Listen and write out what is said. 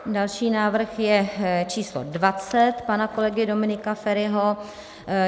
Další návrh je číslo 20 pana kolegy Dominika Feriho.